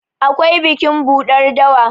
akwai bikin buɗar dawa